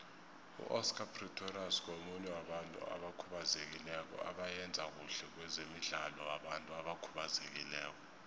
uoscar pistorius ngomunye wabantu abakhubazekileko abayenza khuhle kwezemidlalo wabantu abakhubazekileko